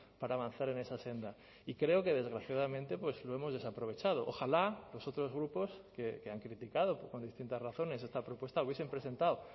para avanzar en esa senda y creo que desgraciadamente pues lo hemos desaprovechado ojalá los otros grupos que han criticado con distintas razones esta propuesta hubiesen presentado